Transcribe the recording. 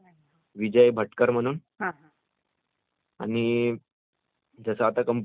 आणि जसे आता कम्पुटरमध्ये वेगवेगळे म्हणजे पार्टस् असतात